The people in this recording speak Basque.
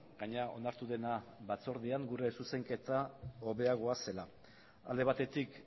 gainera onartu dena batzordean hobeagoa zela alde batetik